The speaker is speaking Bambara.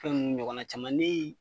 Fɛn nunnu ɲɔgɔnna caman ne ye